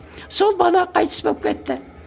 сол бала қайтыс болып кетті